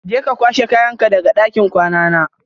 Je ka kwashe kayanka daga ɗakin kwana na.